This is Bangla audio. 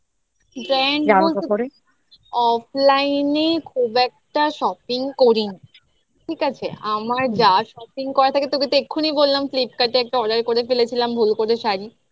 offline এ খুব একটা করি না ঠিক আছে আমার যা shopping করার থাকে তোকে তো এক্ষুনি বললাম flipkart এ একটা order করে ফেলেছিলাম ভুল করে শাড়ি